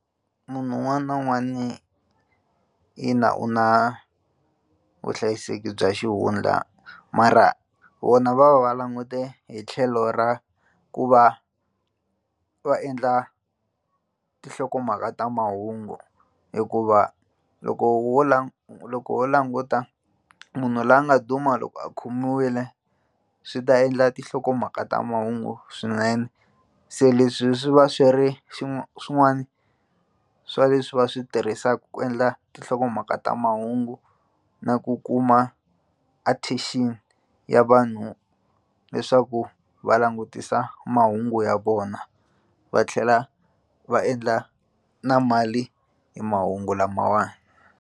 Munhu un'wana na un'wana ina u na vuhlayiseki bya xihundla mara vona va va va langute hi tlhelo ra ku va va endla tihlokomhaka ta mahungu hikuva loko wo loko wo languta munhu loyi a nga duma loko a khomiwile swi ta endla tinhlokomhaka ta mahungu swinene se leswi swi va swi ri swin'wani swa leswi va swi tirhisaka ku endla tinhlokomhaka ta mahungu na ku kuma attention ya vanhu leswaku va langutisa mahungu ya vona va tlhela va endla na mali hi mahungu lamawani.